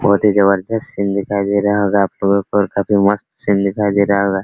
काफी जबरदस्त सिन दिखाई दे रहा होगा आपलोगो को और काफी मस्त सिन दिखाई दे रहा होगा --